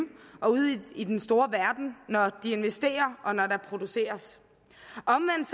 og ude i den store verden når de investerer og når der produceres omvendt